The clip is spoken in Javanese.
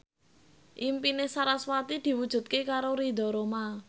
impine sarasvati diwujudke karo Ridho Roma